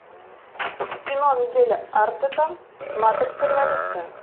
кино мигеля артета матрица революция